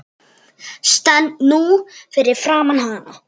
Stend nú fyrir framan hana.